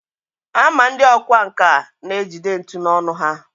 a ma ndị ọkwá nkà na-ejide ntu n’ọnụ ha